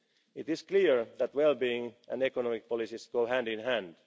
the modern age. It is clear that well being and economic policies